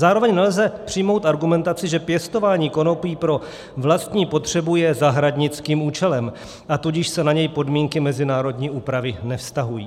Zároveň nelze přijmout argumentaci, že pěstování konopí pro vlastní potřebu je zahradnickým účelem, a tudíž se na něj podmínky mezinárodní úpravy nevztahují.